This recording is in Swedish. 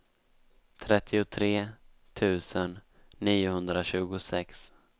trettiotre tusen niohundratjugosex